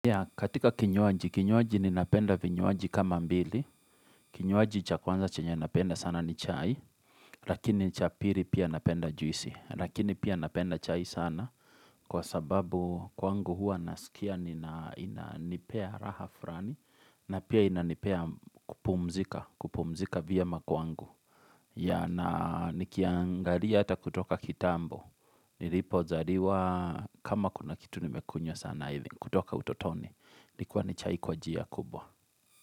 Katika kinyoaji, kinyoaji ni napenda vinyoaji kama mbili. Kinywaji cha kwanza chenye napenda sana ni chai. Lakini chapiri pia napenda juisi. Lakini pia napenda chai sana. Kwa sababu kwangu hua nasikia nina inanipea raha furani. Na pia ina nipea kupumzika. Kupumzika vyema kwangu. Ya na nikiangalia ata kutoka kitambo. Nilipo zariwa kama kuna kitu nimekunywa sana kutoka utotoni. Nikuwa ni chai kwa njia kubwa.